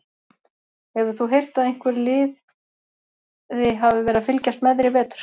Hefur þú heyrt að einhver liði hafi verið að fylgjast með þér í vetur?